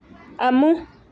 amu''